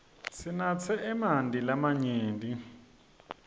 sinatse emanti lamanyenti